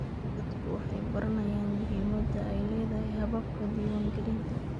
Dadku waxay baranayaan muhimadda ay leedahay hababka diiwaangelinta.